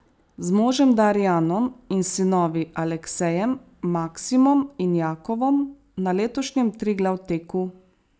Z možem Darijanom in sinovi Aleksejem, Maksimom in Jakovom na letošnjem Triglav teku.